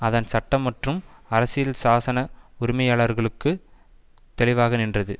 அதன் சட்ட மற்றும் அரசியல் சாசன உரிமைகளுக்குள் தெளிவாக நின்றது